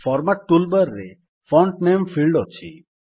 format tool bar ରେ font ନାମେ field ଅଛି